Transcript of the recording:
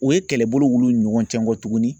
U ye kɛlɛbolo wuli ni ɲɔgɔn cɛ kɔ tuguni